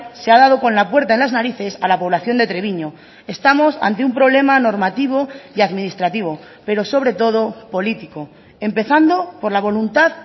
se ha dado con la puerta en las narices a la población de treviño estamos ante un problema normativo y administrativo pero sobre todo político empezando por la voluntad